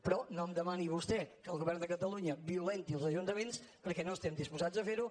però no em demani vostè que el govern de catalunya violenti els ajuntaments perquè no estem disposats a fer ho